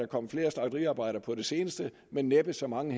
kommet flere slagteriarbejdere på det seneste men næppe så mange